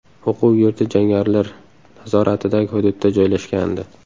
O‘quv yurti jangarilar nazoratidagi hududda joylashgandi.